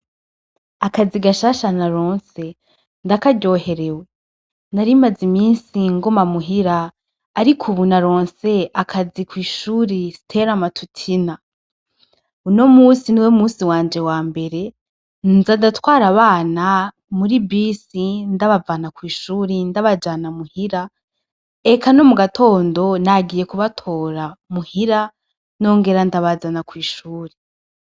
Akazi gashasha naronse ndakaryoherewe narimaze imisi nguma muhira ariko ubu naronse akazi kw'ishuri Siteramatutina, uno musi niwo musi wanje wa mbere nza ndatwara abana muri bisi ndabavana kw'ishuri ndabajana muhira eka no mu gatondo nagiye kubatora muhira nongera ndabazana kw'ishuri.